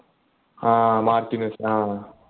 ആഹ് Martins ആഹ്